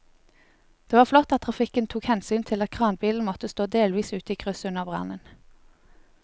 Det var flott at trafikken tok hensyn til at kranbilen måtte stå delvis ute i krysset under brannen.